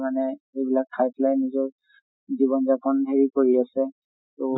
মানে এইবিলাক খাই পেলাই নিজৰ জীৱন যাপন হেই কৰি আছে। তʼ